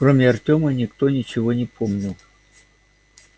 кроме артема никто ничего не помнил